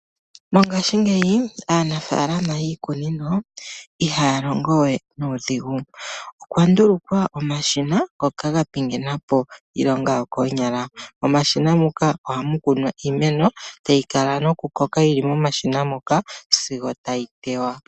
Mongaashingeyi aanafaalama yiikunino ihaya longowe nuudhigu. Okwa ndulukwa omashina ngoka gapingenapo iilonga yokoonyala . Momashina ngoka ohamu kunwa iimeno tayi kala nokukoka yili momashina ngoka sigo tayi teywa.